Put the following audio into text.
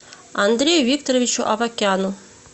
андрею викторовичу авакяну